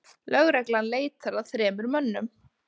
Lögreglan leitar að þremur mönnum